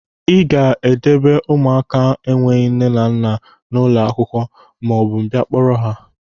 Ị ga-edeba ụmụaka enweghị nne na nna a n'ụlọ akwụkwọ maọbụ m bịa kpọrọ ha!